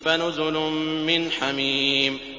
فَنُزُلٌ مِّنْ حَمِيمٍ